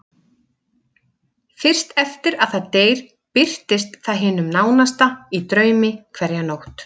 Fyrst eftir að það deyr birtist það hinum nánasta í draumi hverja nótt.